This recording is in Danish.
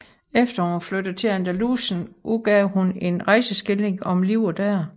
Efter at hun var flyttet til Andalusien udgav hun en rejseskildring om livet der